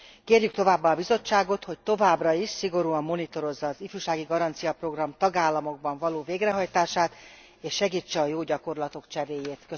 Kérjük továbbá a Bizottságot, hogy továbbra is szigorúan monitorozza az ifjúsági garancia tagállamokban való végrehajtását, és segítse a bevált gyakorlatok cseréjét.